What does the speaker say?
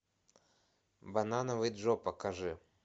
банановый джо покажи